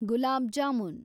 ಗುಲಾಬ್ jamun